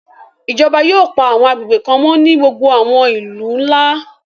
Ijọba yóò pa àwọn agbegbe kan mọ ni gbogbo àwọn ilu nla